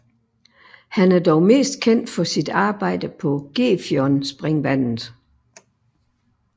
Han er dog mest kendt for sit arbejde på Gefionspringvandet